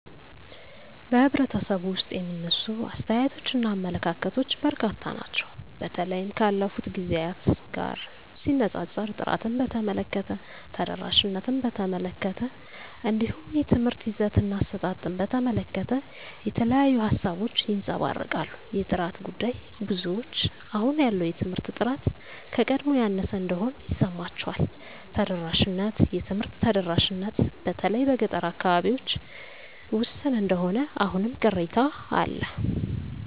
በኅብረተሰቡ ውስጥ የሚነሱ አስተያየቶችና አመለካከቶች በርካታ ናቸው። በተለይም ካለፉት ጊዜያት ጋር ሲነጻጸር፣ ጥራትን በተመለከተ፣ ተደራሽነትን በተመለከተ፣ እንዲሁም የትምህርት ይዘትና አሰጣጥን በተመለከተ የተለያዩ ሃሳቦች ይንጸባረቃሉ። የጥራት ጉዳይ -ብዙዎች አሁን ያለው የትምህርት ጥራት ከቀድሞው ያነሰ እንደሆነ ይሰማቸዋል። ተደራሽነት -የትምህርት ተደራሽነት በተለይ በገጠር አካባቢዎች ውስን እንደሆነ አሁንም ቅሬታ አለ